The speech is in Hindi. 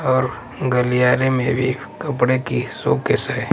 और गलियारे में भी कपड़े की शोकेस है।